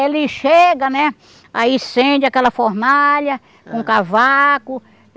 Ele chega, né, aí incende aquela fornalha com cavaco.